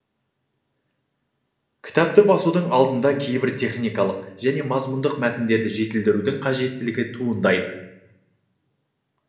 кітапты басудың алдында кейбір техникалық және мазмұндық мәтіндерді жетілдірудің қажеттілігі туындайды